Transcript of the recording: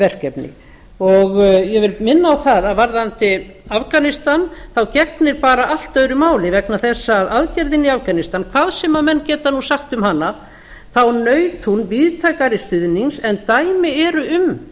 verkefni ég vil minna á það að varðandi afganistan gegnir bara allt öðru máli vegna þess að aðgerðin í afganistan hvað sem menn geta sagt um hana þá naut hún víðtækari stuðnings en dæmi eru um